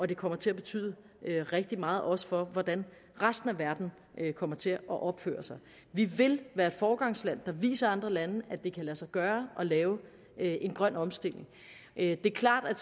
det kommer til at betyde rigtig meget også for hvordan resten af verden kommer til at opføre sig vi vil være et foregangsland der viser andre lande at det kan lade sig gøre at lave en grøn omstilling det er klart at